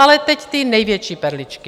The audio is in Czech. Ale teď ty největší perličky.